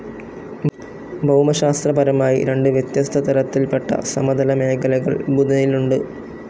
ഭൗമശാസ്ത്രപരമായി രണ്ട് വ്യത്യസ്ത തരത്തിൽപെട്ട സമതല മേഖലകൾ ബുധനിലുണ്ട്.